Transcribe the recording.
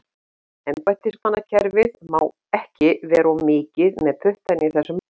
Embættismannakerfið má ekki vera of mikið með puttana í þessum málum.